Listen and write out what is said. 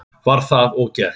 Var það og gert.